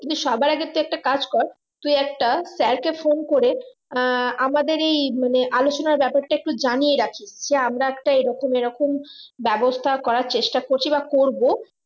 কিন্তু সবার আগে তুই একটা কাজ কর তুই একটা sir কে phone করে আহ আমাদের এই মানে আলোচনার ব্যাপারটা জানিয়ে রাখি যে আমরা একটা এরকম এরকম ব্যবস্থা করার চেষ্টা করছি বা করবো